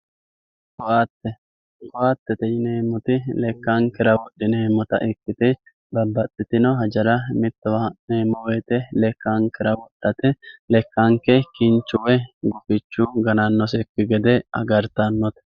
koatte koattete yineemmoti lekkankera wodhineemmota ikkite baxxitino hajara mittowa ha'neemmo woyte lekkankera wodhate lekanke kinchu woy gufichu ganannosekki gede agartannote